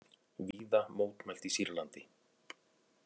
Víða mótmælt í Sýrlandi